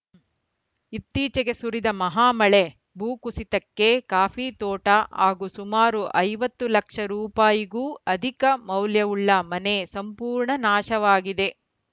ಇತ್ತೀಚೆಗೆ ಸುರಿದ ಮಹಾಮಳೆ ಭೂಕುಸಿತಕ್ಕೆ ಕಾಫಿ ತೋಟ ಹಾಗೂ ಸುಮಾರು ಐವತ್ತು ಲಕ್ಷ ರುಗೂ ಅಧಿಕ ಮೌಲ್ಯವುಳ್ಳ ಮನೆ ಸಂಪೂರ್ಣ ನಾಶವಾಗಿದೆ